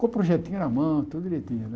Com o projetinho na mão, tudo direitinho né.